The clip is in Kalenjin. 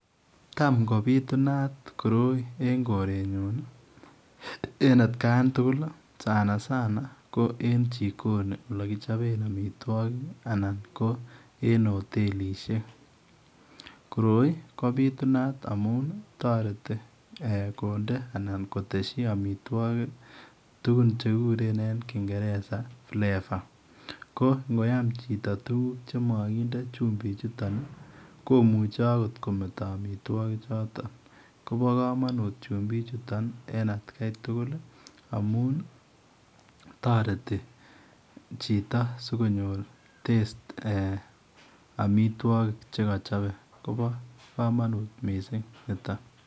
Tam kobitunaat koroi en korenyuun ii en at khan tugul sana sana ko en jikoni ole kichapeen amitwagik anan ko en hotelisiek koroi ko bitunat amount taretii eeh konde anan kotesyii tugul che kiguren eng ingereza flavour ko ngoyaam chitoo tugul chemakinde tugul chutoon komuchei akoot ko mete amitwagik chutoon kobaa kamanut chumbik chutoon en at Kai tugul amount ii , taretii chitoo sikonyor [taste] amount mii amitwagik che kachape kobaa kamanut missing nitoon.